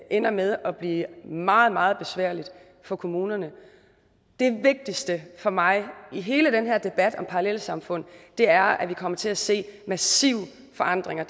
ender med at blive meget meget besværligt for kommunerne det vigtigste for mig i hele den her debat om parallelsamfund er at vi kommer til at se massive forandringer